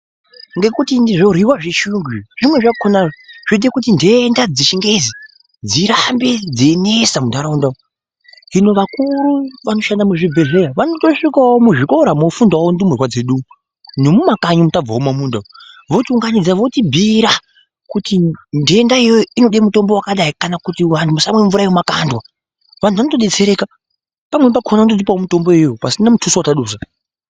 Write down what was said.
Ngekuti zvoryiwa zvechiyungu izvi zvimweni zvakona zvoite kuti ndenda dzechingezi dzirambe dzeinesa muntaraunda umu hino vakuru vanoshanda muzvibhedhlera vanotosvikawo muzvikora mofundawo ndumurwa dzedu nemumakanyi umo tabvawo mumamunda votiunganidza votibhiira kuti ndenda iyoyo inode mutombo wakadai kana kuti vanhu musamwa mvura yemumakandwa vantu vanotodetsereka pamweni pakona vanototopawo mitombo iyoyo pasina mutuso watadusa.